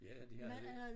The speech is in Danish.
Ja det havde de